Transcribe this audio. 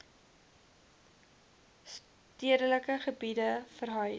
stedelike gebiede verhuis